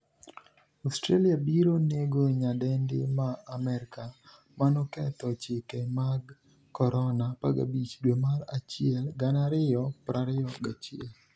Australia biro nego nyadendi ma Amerka manoketho chike mag Corona' 15 dwe mar achiel 2021